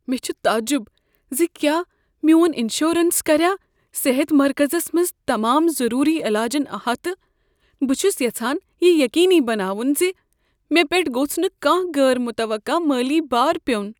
مےٚ چھ تعجب زِ کیٛاہ میون انشورنس کریا صحت مرکزس منز تمام ضروری علاجن احاطہٕ۔ بہٕ چھس یژھان یہ یقینی بناون ز مےٚ پیٹھ گوٚژھ نہٕ کانٛہہ غیر متوقع مٲلی بار پیون۔